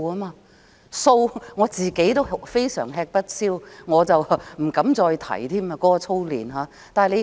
對於數學，我也非常吃不消，不敢再提操練。